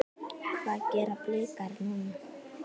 Hvað gera Blikar núna?